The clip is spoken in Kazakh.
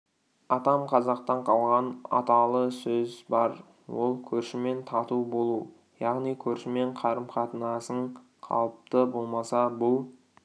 атам қазақтан қалған аталы сөз бар ол көршімен тату болу яғни көршімен қарым-қатынасың қалыпты болмаса бұл